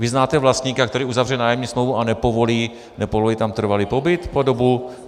Vy znáte vlastníka, který uzavře nájemní smlouvu a nepovolí tam trvalý pobyt po dobu...